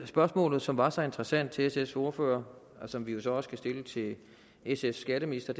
spørgsmålet som var så interessant til sfs ordfører og som vi jo så også kan stille til sfs skatteminister